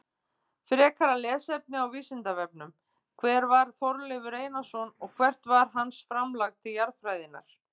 Frekara lesefni á Vísindavefnum: Hver var Þorleifur Einarsson og hvert var hans framlag til jarðfræðinnar?